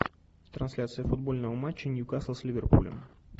трансляция футбольного матча ньюкасл с ливерпулем